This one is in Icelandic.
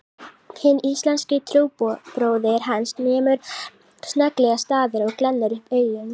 Hinn íslenski trúbróðir hans nemur snögglega staðar og glennir upp augun